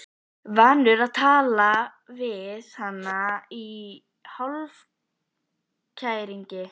Vanur að tala við hana í hálfkæringi.